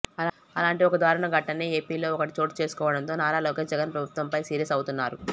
అలాంటి ఒక దారుణ ఘటనే ఏపీలో ఒకటి చోటు చేసుకోవడంతో నారా లోకేష్ జగన్ ప్రభుత్వం పై సీరియస్ అవుతున్నారు